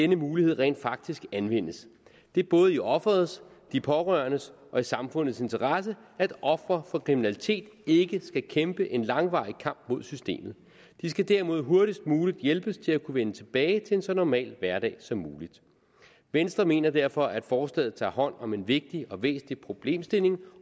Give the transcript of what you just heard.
mulighed rent faktisk anvendes det er både i offerets de pårørendes og samfundets interesse at ofre for kriminalitet ikke skal kæmpe en langvarig kamp mod systemet de skal derimod hurtigst muligt hjælpes til at vende tilbage til en så normal hverdag som muligt venstre mener derfor at forslaget tager hånd om en vigtig og væsentlig problemstilling